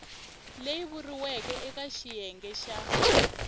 leyi vuriweke eka xiyenge xa